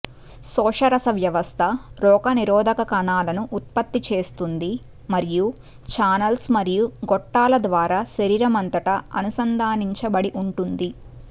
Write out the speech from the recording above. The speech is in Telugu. శోషరస వ్యవస్థ రోగనిరోధక కణాలను ఉత్పత్తి చేస్తుంది మరియు చానెల్స్ మరియు గొట్టాలు ద్వారా శరీరం అంతటా అనుసంధానించబడి ఉంటుంది